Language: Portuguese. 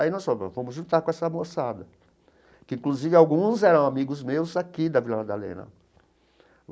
Aí nós falamos, vamos juntar com essa moçada, que inclusive alguns eram amigos meus aqui da Vila Madalena.